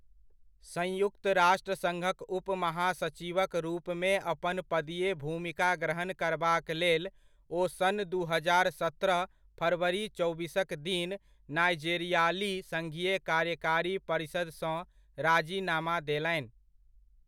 संयुक्त राष्ट्र सङ्घक उप महासचिवक रूपमे अपन पदीय भूमिका ग्रहण करबाक लेल ओ सन् दू हजार सत्रह फरवरी चौबीसक दिन नाइजेरियाली सङ्घीय कार्यकारी परिषदसँ राजिनामा देलनि।